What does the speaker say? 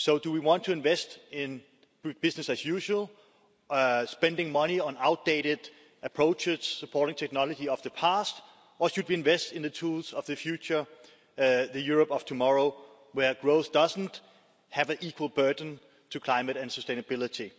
Do we want to invest in business as usual, spending money on outdated approaches and supporting the technology of the past, or should we invest in the tools of the future, the Europe of tomorrow, where growth doesn't have an equal burden in terms of climate and sustainability?